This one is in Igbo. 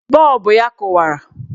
Bọọbụ ya kụwara.